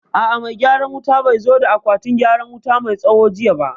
A'a, mai gyaran wutan bai zo da akwatin wuta mai tsawo jiya ba